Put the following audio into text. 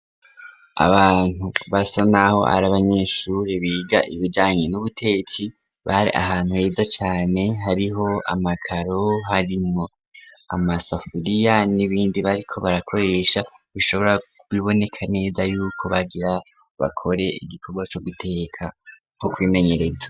Abantu basa naho ar'abanyeshure biga ibijanye n'ubutetsi bari ahantu heza cane hariho amakaro harimwo amasafuriya n'ibindi bariko bakoresha bishobora bibonekka neza yuko bagira bakore igikorwa co guteka nko kwimenyereza